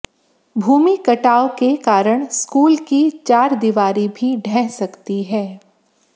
भूमि कटाव के कारण स्कूल की चारदीवारी भी ढ़ह सकती है